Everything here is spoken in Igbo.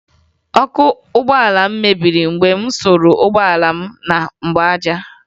Ọkụ ụgbọala m mebiri mgbe m suru ụgbọala m na mgbaaja